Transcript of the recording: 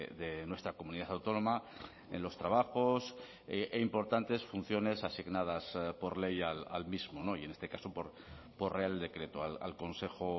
de nuestra comunidad autónoma en los trabajos e importantes funciones asignadas por ley al mismo y en este caso por real decreto al consejo